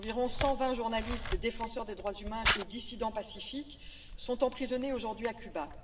Environ 120 journalistes, défenseurs des droits humains et dissidents pacifiques sont emprisonnés aujourd'hui à Cuba.